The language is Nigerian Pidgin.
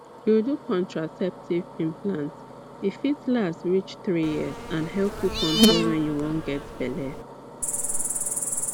you do contraceptive implant e fit last reach three years and help you control when you wan get belle